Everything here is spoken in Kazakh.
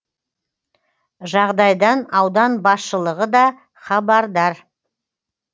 жағдайдан аудан басшылығы да хабардар